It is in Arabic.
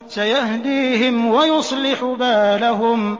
سَيَهْدِيهِمْ وَيُصْلِحُ بَالَهُمْ